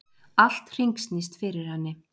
Allt hringsnýst fyrir henni.